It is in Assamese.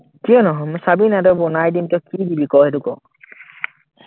কিয় নহম, চাবি না তই মই বনাই দিম তই কি বুলি ক,